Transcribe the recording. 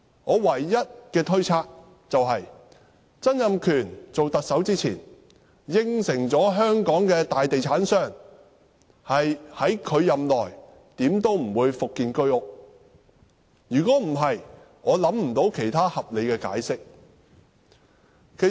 我唯一的推測是，曾蔭權在擔任特首前，答允香港的大地產商，他任內無論如何不會復建居屋；否則，我想不到其他合理的解釋。